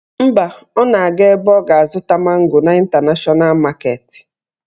Mba, ọ na-aga ebe ọ ga-azụta mango n' Ịntanashọna maketi